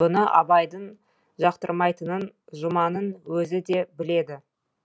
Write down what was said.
бұны абайдың жақтырмайтынын жұманның өзі де біледі